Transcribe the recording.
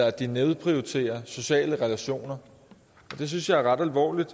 at de nedprioriterer sociale relationer og det synes jeg er ret alvorligt